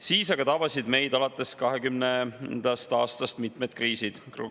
Siis aga tabasid meid alates 2020. aastast mitmed kriisid.